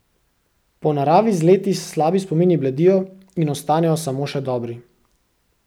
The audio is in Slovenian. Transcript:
Po naravi z leti slabi spomini bledijo in ostanejo samo še dobri.